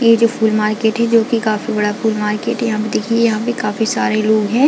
ये जो फूल मार्किट है जो कि काफी बड़ा फूल मार्किट है यहाँ पे देखिये यहाँ पे काफी सारे लोग है।